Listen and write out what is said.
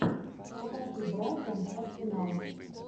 покажи брайтон арсенал